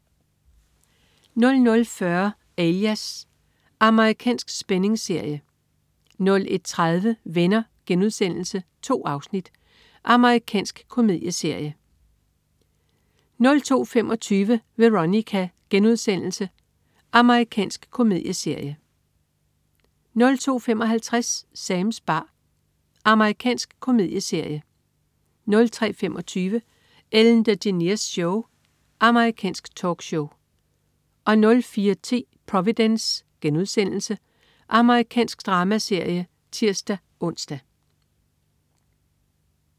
00.40 Alias. Amerikansk spændingsserie 01.30 Venner.* 2 afsnit. Amerikansk komedieserie 02.25 Veronica.* Amerikansk komedieserie 02.55 Sams bar. Amerikansk komedieserie 03.25 Ellen DeGeneres Show. Amerikansk talkshow 04.10 Providence.* Amerikansk dramaserie (tirs-ons)